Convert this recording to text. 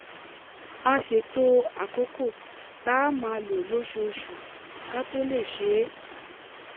a ṣètò àkókò tá a máa lò lóṣooṣù ká tó lè ṣe é